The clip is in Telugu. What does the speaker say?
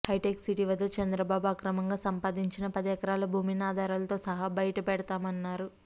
హైటెక్ సిటీ వద్ద చంద్రబాబు అక్రమంగా సంపాదించిన పది ఎకరాల భూమిని ఆధారాలతో సహా బయటపెడతామన్నారు